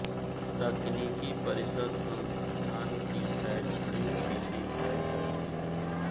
तकनीकी परिषद संस्थान की शैक्षणिक नीति तय करती है